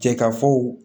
Cɛ ka fɔ